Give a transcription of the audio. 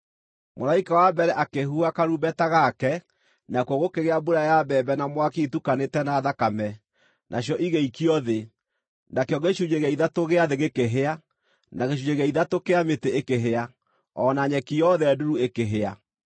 Mũraika wa mbere akĩhuha karumbeta gake, nakuo gũkĩgĩa mbura ya mbembe na mwaki itukanĩte na thakame, nacio igĩikio thĩ. Nakĩo gĩcunjĩ gĩa ithatũ gĩa thĩ gĩkĩhĩa, na gĩcunjĩ gĩa ithatũ kĩa mĩtĩ ĩkĩhĩa, o na nyeki yothe nduru ĩkĩhĩa.